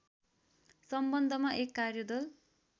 सम्बन्धमा एक कार्यदल